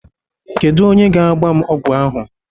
Kedu onye ga-agba m ọgwụ ahụ?